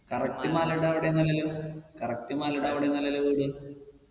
correct മലയുടെ അവിടൊന്നല്ലല്ലോ correct മലയുടെ അവിടൊന്നല്ലല്ലോ വീട്